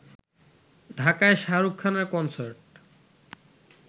ঢাকায় শাহরুখ খানের কনসার্ট